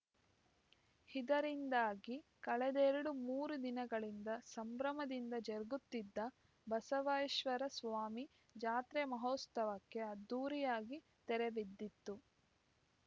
ಇದರಿಂದಾಗಿ ಕಳೆದೆರಡು ಮೂರು ದಿನಗಳಿಂದ ಸಂಭ್ರಮದಿಂದ ಜರುಗುತ್ತಿದ್ದ ಬಸವೈಶ್ವರ ಸ್ವಾಮಿ ಜಾತ್ರೆ ಮಹೋತ್ಸವಕ್ಕೆ ಅದ್ಧೂರಿಯಾಗಿ ತೆರೆಬಿದ್ದಿತು